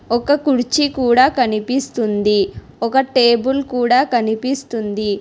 ఒక కుర్చీ కూడా కనిపిస్తుంది ఒక టేబుల్ కూడా కనిపిస్తుంది.